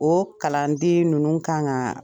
O kalanden ninnu kan ka